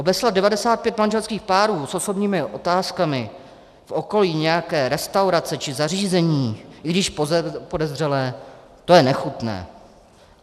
Obeslat 95 manželských párů s osobním otázkami v okolí nějaké restaurace či zařízení, i když podezřelé, to je nechutné.